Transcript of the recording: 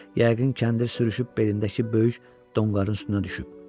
Yəqin kəndir sürüşüb belindəki böyük donqarının üstünə düşüb.